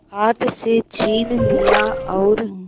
हाथ से छीन लिया और